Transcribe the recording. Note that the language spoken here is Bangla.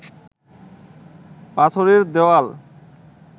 পাথরের দেওয়াল